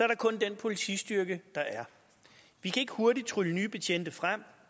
der kun den politistyrke der er vi kan ikke hurtigt trylle nye betjente frem